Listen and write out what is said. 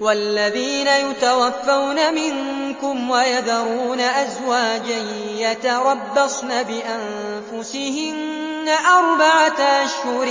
وَالَّذِينَ يُتَوَفَّوْنَ مِنكُمْ وَيَذَرُونَ أَزْوَاجًا يَتَرَبَّصْنَ بِأَنفُسِهِنَّ أَرْبَعَةَ أَشْهُرٍ